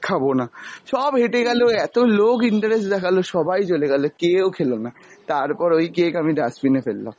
খাবনা, সব হেটে গেলো এত লোক interest দেখাল সবাই চলে গেলো, কেও খেলোনা, তারপর ওই cake আমি dustbin এ ফেললাম।